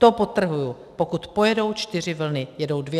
To, podtrhuji, pokud pojedou čtyři vlny, jedou dvě.